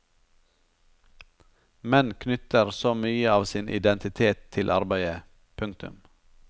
Menn knytter så mye av sin identitet til arbeidet. punktum